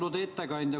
Austatud ettekandja!